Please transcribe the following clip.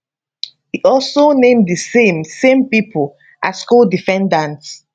e also name di same same pipo as codefendants